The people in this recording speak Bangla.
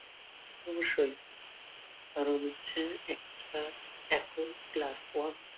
অবশ্যই কারণ হচ্ছে একটা এখন ক্লাস ওয়ান